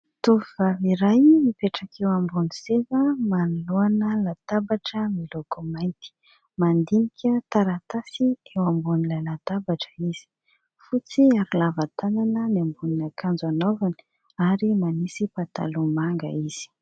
Tovovavy iray mipetraka eo ambony seza manoloana latabatra miloko mainty. Mandinika taratasy eo ambonin'ilay latabatra izy. Fotsy ary lava tanana ny ambonin'akanjo anaovany ary manisy pataloha manga izy.